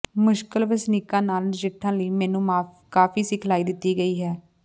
ਮੁਸ਼ਕਲ ਵਸਨੀਕਾਂ ਨਾਲ ਨਜਿੱਠਣ ਲਈ ਮੈਨੂੰ ਕਾਫ਼ੀ ਸਿਖਲਾਈ ਦਿੱਤੀ ਗਈ ਹੈ